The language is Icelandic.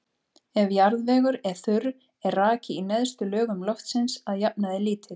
Ef jarðvegur er þurr er raki í neðstu lögum loftsins að jafnaði lítill.